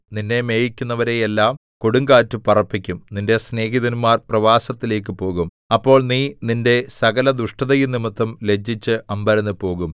നിന്നെ മേയിക്കുന്നവരെ എല്ലാം കൊടുങ്കാറ്റു പറപ്പിക്കും നിന്റെ സ്നേഹിതന്മാർ പ്രവാസത്തിലേക്കു പോകും അപ്പോൾ നീ നിന്റെ സകലദുഷ്ടതയും നിമിത്തം ലജ്ജിച്ച് അമ്പരന്നുപോകും